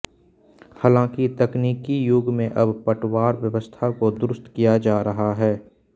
हालांकि तकनीकी युग में अब पटवार व्यवस्था को दुरुस्त किया जा रहा है